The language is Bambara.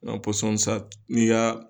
Nka pɔsɔn san, n'i y'a.